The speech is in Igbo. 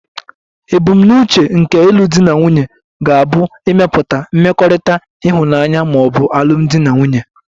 Ebumnuche nke ịlụ di na nwunye ga-abụ ịmepụta mmekọrịta ịhụnanya ma ọ bụ alụmdi na nwunye.